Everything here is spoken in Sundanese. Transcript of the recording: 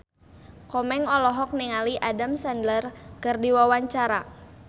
Komeng olohok ningali Adam Sandler keur diwawancara